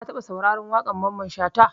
Ka taɓa sauraren waƙar Mamman Shata?